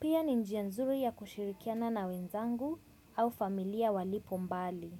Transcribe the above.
Pia ni njia nzuri ya kushirikiana na wenzangu au familia walipo mbali.